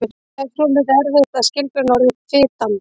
Það er svolítið erfitt að skilgreina orðið fitandi.